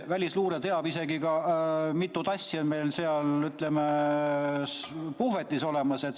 Välisluure teab isegi mitut asja meil seal puhvetis.